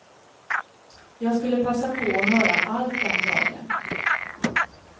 Jag skulle passa på att höra allt den dagen.